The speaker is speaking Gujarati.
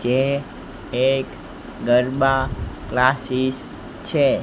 જે એક ગરબા ક્લાસીસ છે.